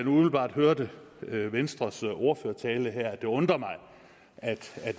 umiddelbart at have hørt venstres ordførertale at det undrer mig at